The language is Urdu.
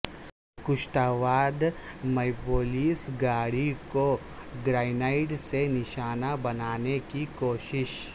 کشتواڑ میںپولیس گاڑی کو گرینیڈ سے نشانہ بنانے کی کوشش